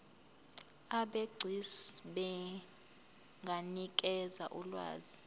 abegcis benganikeza ulwazi